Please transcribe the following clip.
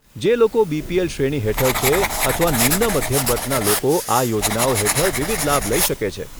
જે લોકો બીપીએલ શ્રેણી હેઠળ છે, અથવા નિમ્ન મધ્યમ વર્ગના લોકો આ યોજનાઓ હેઠળ વિવિધ લાભ લઈ શકે છે.